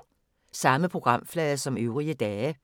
Samme programflade som øvrige dage